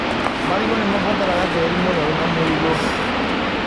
Marigũ nĩmabataraga tĩri mũnoru na mũigũ.